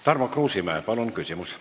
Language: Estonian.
Tarmo Kruusimäe, palun küsimus!